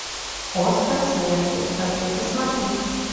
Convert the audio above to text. остров смерти хочу посмотреть